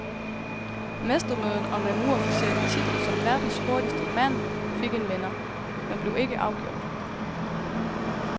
Mestermødet om den uofficielle titel som verdens hurtigste mand fik en vinder, men blev ikke afgjort.